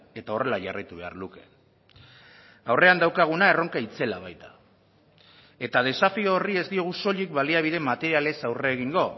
eta horrela jarraitu behar luke aurrean daukaguna erronka itzela baita eta desafio horri ez diogu soilik baliabide materialez aurre egingo